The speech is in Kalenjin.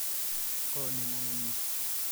Ko neng'ung'et ni.